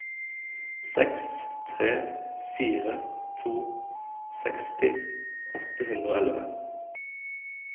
seks tre fire to seksti åtte hundre og elleve